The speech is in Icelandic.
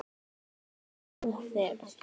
Yfir álfuna þvera